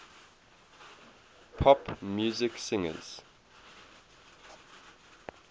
pop music singers